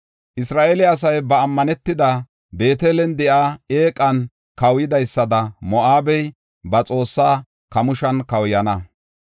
Isra7eele asay ba ammanetida, Beetelen de7iya eeqan kawuyidaysada Moo7abey ba xoossaa Kamooshan kawuyana.